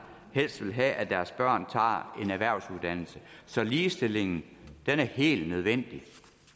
helst vil have at deres børn tager en erhvervsuddannelse så ligestillingen er helt nødvendig